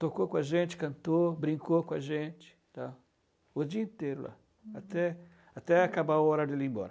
Tocou com a gente, cantou, brincou com a gente está? O dia inteiro lá, até até acabar a hora de ele ir embora.